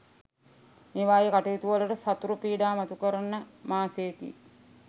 මේවායේ කටයුතුවලට සතුරු පීඩා මතු කරන මාසයකි.